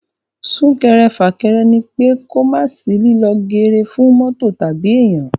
Sún-kẹrẹ-fà-kẹrẹ ní pé kò mà sí líló geere fún mọ́tò tàbí èèyan.